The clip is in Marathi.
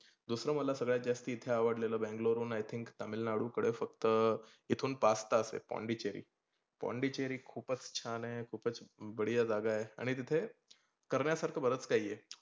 दुसरं मला सगळ्यात जास्ती इथे अवडलेल बैंगलोर हून i think तमिळनाडू कडे फक्त इथून पाच तास आहे पोंडेचेरी पोंडेचेरी खुपच छान आहे, खुपच बडीया जागा आहे. आणि तिथे करण्यासारख बसचं काही आहे.